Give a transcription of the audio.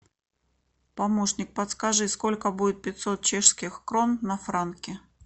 помощник подскажи сколько будет пятьсот чешских крон на франки